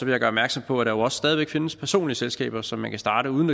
jeg gøre opmærksom på at der også stadig væk findes personlige selskaber som man kan starte uden